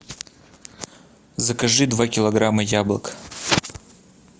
закажи два килограмма яблок